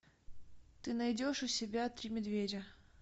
ты найдешь у себя три медведя